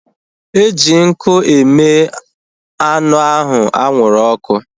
Eji nkụ eme anụ ahu anwụrụ ọkụ